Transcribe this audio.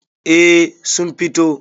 A sun fito